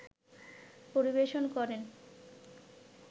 পরিবেশন করেন